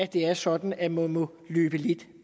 det er sådan at man må løbe lidt